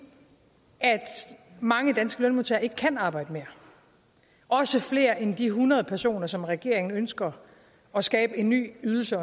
mange danske lønmodtagere ikke kan arbejde mere også flere end de hundrede personer som regeringen ønsker at skabe en ny ydelse